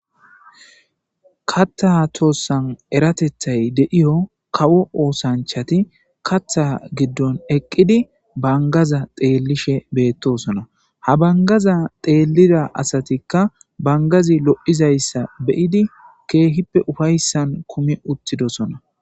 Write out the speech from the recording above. kathaa toossan eratethay de'iyo kawo oosanchati katha giddon eqqidi bangaza xeellishe beettosona ha bangaza xeelida asatikka bangazi lo7izayssa beyidi keehippe ufayssan kumi uttidosona